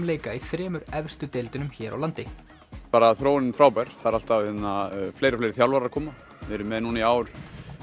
leika í þremur efstu deildunum hér á landi bara þróunin frábær það eru alltaf fleiri og fleiri þjálfarar að koma við erum með núna í ár